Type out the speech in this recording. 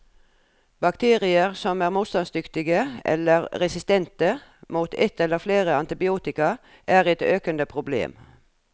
Bakterier som er motstandsdyktige, eller resistente, mot et eller flere antibiotika, er et økende problem.